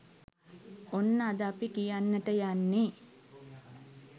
ඔන්න අද අපි කියන්නට යන්නේ